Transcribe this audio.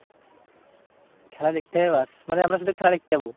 খেলা দেখতে যাবো ব্যাস। মানে আমরা শুধু খেলা দেখতে যাবো?